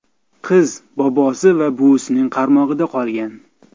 Qiz bobosi va buvisining qaramog‘ida qolgan.